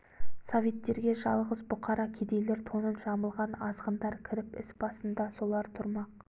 советтерге жалғыз бұқара кедейлер тонын жамылған азғындар кіріп іс басында солар тұрмақ